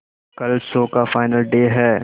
कल शो का final day है